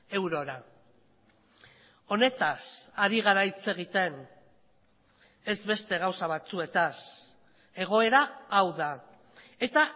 eurora honetaz ari gara hitz egiten ez beste gauza batzuetaz egoera hau da eta